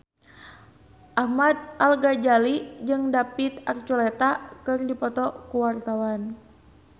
Ahmad Al-Ghazali jeung David Archuletta keur dipoto ku wartawan